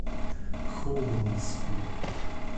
холмску